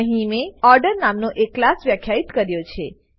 અહીં મેં ઓર્ડર નામનો એક ક્લાસ વ્યાખ્યિત કર્યો છે